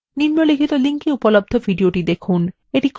নিম্নলিখিত link এ উপলব্ধ video দেখুন